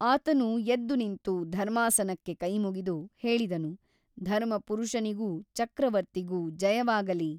ಅತನು ಎದ್ದು ನಿಂತು ಧರ್ಮಾಸನಕ್ಕೆ ಕೈಮುಗಿದು ಹೇಳಿದನು ಧರ್ಮಪುರಷನಿಗೂ ಚಕ್ರವರ್ತಿಗೂ ಜಯವಾಗಲಿ.